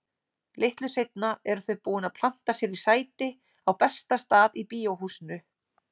Litlu seinna eru þau búin að planta sér í sæti á besta stað í Bíóhúsinu.